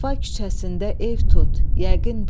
Vəfa küçəsində ev tut, yəqin bil.